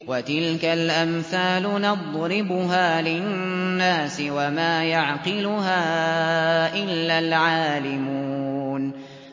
وَتِلْكَ الْأَمْثَالُ نَضْرِبُهَا لِلنَّاسِ ۖ وَمَا يَعْقِلُهَا إِلَّا الْعَالِمُونَ